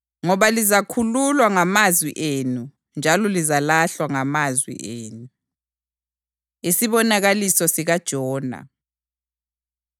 Ngoba lizakhululwa ngamazwi enu njalo lizalahlwa ngamazwi enu.” Isibonakaliso SikaJona